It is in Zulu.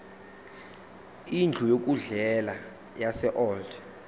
indlu yokudlela yaseold